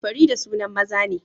Farida sunan maza ne